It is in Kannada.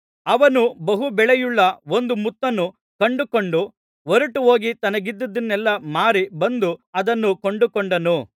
ಅವನು ಬಹು ಬೆಲೆಯುಳ್ಳ ಒಂದು ಮುತ್ತನ್ನು ಕಂಡುಕೊಂಡು ಹೊರಟುಹೋಗಿ ತನಗಿದ್ದದ್ದನ್ನೆಲ್ಲಾ ಮಾರಿ ಬಂದು ಅದನ್ನು ಕೊಂಡುಕೊಂಡನು